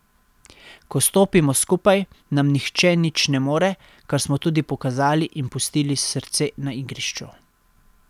Ko stopimo skupaj, nam nihče nič ne more, kar smo tudi pokazali in pustili srce na igrišču.